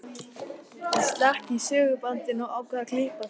Ég slekk á segulbandinu og ákveð að klippa þær.